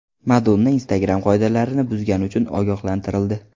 Madonna Instagram qoidalarini buzgani uchun ogohlantirildi.